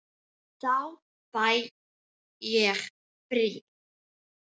Þá fæ ég frí.